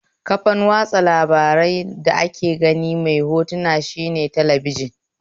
Kafan watsa labaran da ake ganin hoto mai magana shine talabijin